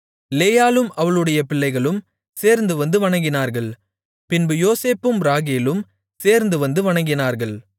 லேயாளும் அவளுடைய பிள்ளைகளும் சேர்ந்துவந்து வணங்கினார்கள் பின்பு யோசேப்பும் ராகேலும் சேர்ந்துவந்து வணங்கினார்கள்